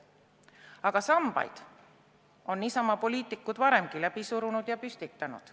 Aga sambaid on Isamaa poliitikud varemgi läbi surunud ja püstitanud.